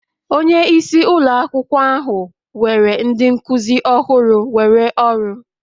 Onye isi ụlọ akwụkwọ ahụ were ndị nkuzi ọhụrụ were ọrụ